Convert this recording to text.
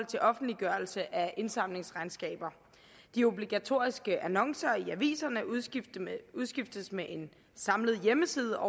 til offentliggørelse af indsamlingsregnskaber de obligatoriske annoncer i aviserne udskiftes med en samlet hjemmeside